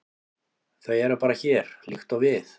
Þau eru bara hér, líkt og við.